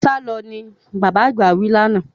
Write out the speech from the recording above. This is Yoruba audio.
Sálọ! ni bàbá àgbà wí lánàá.